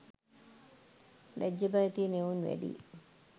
ලැජ්ජ බය තියන එවුන් වැඩියි.